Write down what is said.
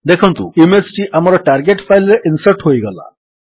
ଦେଖନ୍ତୁ ଇମେଜ୍ ଟି ଆମର ଟାର୍ଗେଟ୍ ଫାଇଲ୍ ରେ ଇନ୍ସର୍ଟ ହୋଇଗଲା